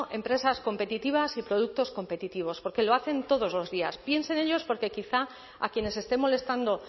empresas competitivas y productos competitivos porque lo hacen todos los días piense en ellos porque quizá a quienes esté molestando